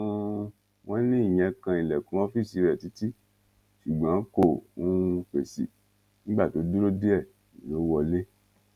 um wọn ní ìyẹn kan ilẹkùn ọfíìsì rẹ títí ṣùgbọn kò um fèsì nígbà tó dúró díẹ lọ wọlé